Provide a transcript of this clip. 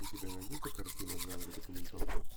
у тебя найдется картина в жанре документалка